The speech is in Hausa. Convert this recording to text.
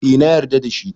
Eh na yarda da shi